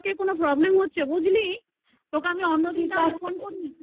কোনো problem হচ্ছে বুঝলি তোকে আমি